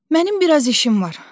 Mənim biraz işim var.